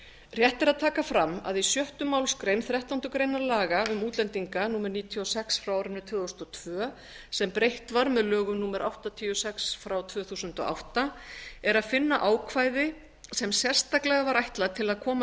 rétt er að taka fram að í sjöttu málsgrein þrettándu grein laga um útlendinga númer níutíu og sex tvö þúsund og tvö sem breytt var með lögum númer áttatíu og sex tvö þúsund og átta er að finna ákvæði sem sérstaklega var ætlað að koma